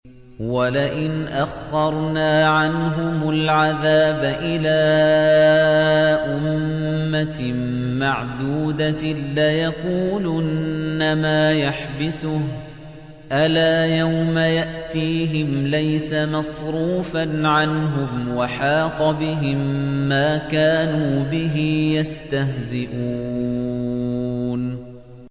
وَلَئِنْ أَخَّرْنَا عَنْهُمُ الْعَذَابَ إِلَىٰ أُمَّةٍ مَّعْدُودَةٍ لَّيَقُولُنَّ مَا يَحْبِسُهُ ۗ أَلَا يَوْمَ يَأْتِيهِمْ لَيْسَ مَصْرُوفًا عَنْهُمْ وَحَاقَ بِهِم مَّا كَانُوا بِهِ يَسْتَهْزِئُونَ